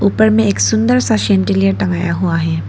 उपर में एक सुंदर सा सैंडिलियर टंगाया हुआ है।